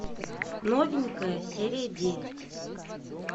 новенькая серия девять